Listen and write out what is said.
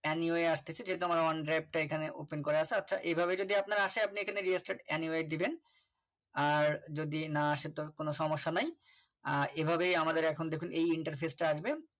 Anyway আসতেছে যেহেতু আমার On drive টা এখানে open করা আছে আচ্ছা এভাবে যদি আপনার আছে আপনি এখানে Restart anyway দেবেন আর যদি না আসে তো কোন সমস্যা নাই আর এভাবেই আমাদের এখন দেখুন এই Interface টা আসবে